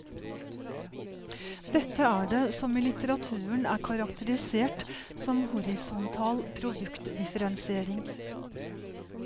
Dette er det som i litteraturen er karakterisert som horisontal produktdifferensiering.